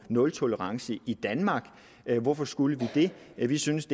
nultolerancen i danmark hvorfor skulle vi det vi synes